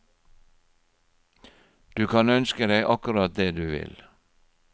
Du kan ønske deg akkurat det du vil.